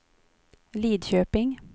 Lidköping